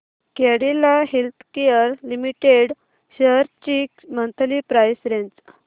Cadila healthcare limited shares ची monthly price range